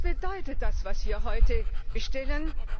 Was bedeutet das, was wir heute bestellen?